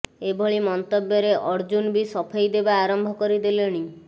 ଏଭଳି ମନ୍ତବ୍ୟରେ ଅର୍ଜୁନ୍ ବି ସଫେଇ ଦେବା ଆରମ୍ଭ କରିଦେଲେଣି